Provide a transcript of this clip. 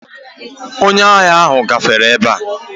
Onye ahỊa ahụ gafere ebe a.